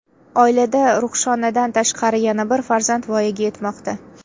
Oilada Ruhshonadan tashqari yana bir farzand voyaga yetmoqda.